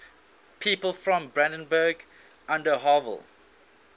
people from brandenburg an der havel